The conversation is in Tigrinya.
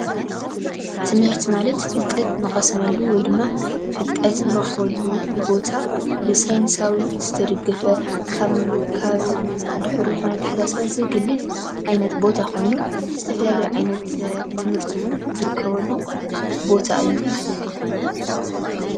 ትምህርቲ ማለት ፍለጠት እንቐስሙሉ ወይ ድማ ፍልጠት እንረኽበሉ ቦታ ብሰይነሳዊ ዝተደገፈ ካብ ድሑር ዝኾነ ኣታሓሳስባ ዘግልል ዓይነት ቦታ ኾይኑ ዝተፈላለዩ ዓይነት ትምህርቲ እውን ዝርከበሉ ቦታ እዩ፡፡